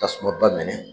Tasuma ba minɛ